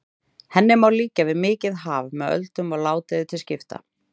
Henni má líkja við mikið haf með öldum og ládeyðu til skipta.